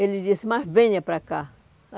Ele disse, mas venha para cá.